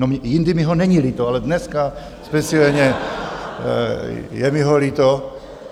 No, jindy mi ho není líto, ale dneska speciálně je mi ho líto.